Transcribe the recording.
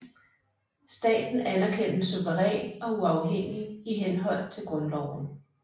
Staten anerkendes suveræn og uafhængig i henhold til Grundloven